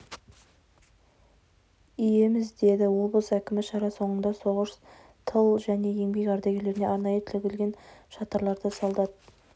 иеміз деді облыс әкімі шара соңында соғыс тыл және еңбек ардагерлеріне арнайы тігілген шатырларда солдат